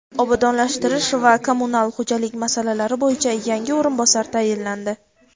obodonlashtirish va kommunal xo‘jalik masalalari bo‘yicha yangi o‘rinbosar tayinlandi.